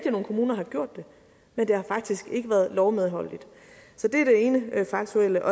at nogle kommuner har gjort det men det har faktisk ikke været lovmedholdeligt så det er det ene faktuelle